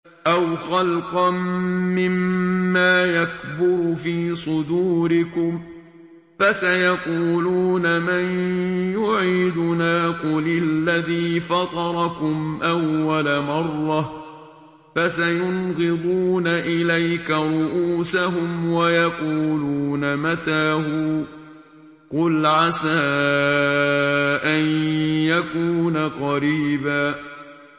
أَوْ خَلْقًا مِّمَّا يَكْبُرُ فِي صُدُورِكُمْ ۚ فَسَيَقُولُونَ مَن يُعِيدُنَا ۖ قُلِ الَّذِي فَطَرَكُمْ أَوَّلَ مَرَّةٍ ۚ فَسَيُنْغِضُونَ إِلَيْكَ رُءُوسَهُمْ وَيَقُولُونَ مَتَىٰ هُوَ ۖ قُلْ عَسَىٰ أَن يَكُونَ قَرِيبًا